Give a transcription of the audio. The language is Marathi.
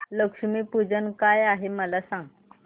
लक्ष्मी पूजन काय आहे मला सांग